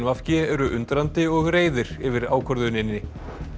v g eru undrandi og reiðir yfir ákvörðuninni